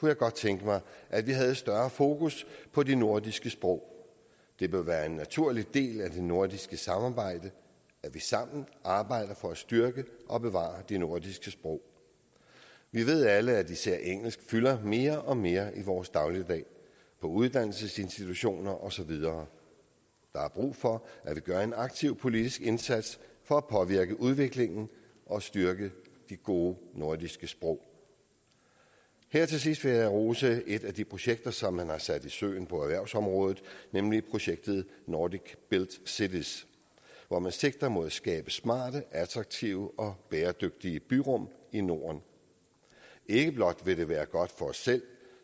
jeg godt tænke mig at vi havde større fokus på de nordiske sprog det bør være en naturlig del af det nordiske samarbejde at vi sammen arbejder for at styrke og bevare de nordiske sprog vi ved alle at især engelsk fylder mere og mere i vores dagligdag på uddannelsesinstitutioner og så videre der er brug for at vi gør en aktiv politisk indsats for at påvirke udviklingen og styrke de gode nordiske sprog her til sidst vil jeg rose et af de projekter som man har sat i søen på erhvervsområdet nemlig projektet nordic built cities hvor man sigter mod at skabe smarte attraktive og bæredygtige byrum i norden ikke blot vil det være godt for os selv